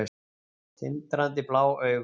Tindrandi blá augu.